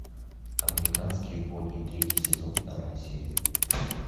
американские боги третий сезон вторая серия